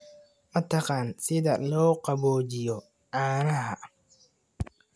Ma taqaan sida loo qaboojiyo caanaha?